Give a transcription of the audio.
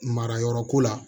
Marayɔrɔ ko la